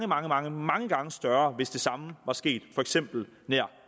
mange mange mange gange større hvis det samme var sket for eksempel nær